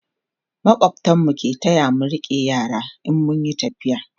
makwabtan mu ke taya mu rike yara in mun Yi tafiya